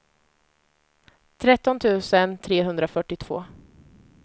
tretton tusen trehundrafyrtiotvå